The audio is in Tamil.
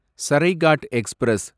சரைகாட் எக்ஸ்பிரஸ்